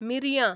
मिरयां